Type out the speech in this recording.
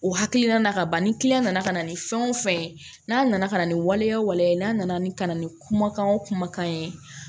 O hakilina nana ka ban ni nana ka na ni fɛn o fɛn ye n'a nana ka na ni waleya waleya ye n'a nana ni ka na ni kumakan o kumakan ye